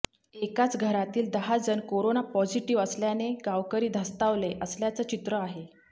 एकाच घरातील दहा जण कोरोना पॉझिटिव्ह आल्याने गावकरी धास्तावले असल्याचं चित्र आहे